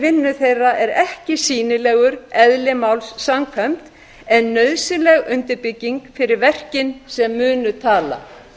vinnu þeirra er ekki sýnilegur eðli máls samkvæmt en nauðsynleg undirbygging fyrir verkin sem munu tala